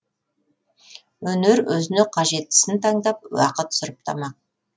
өнер өзіне қажеттісін таңдап уақыт сұрыптамақ